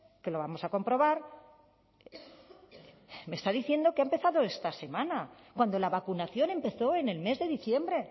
que lo vamos a comprobar me está diciendo que ha empezado esta semana cuando la vacunación empezó en el mes de diciembre